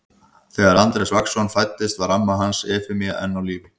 Þegar Andrés Vagnsson fæddist var amma hans Efemía enn á lífi.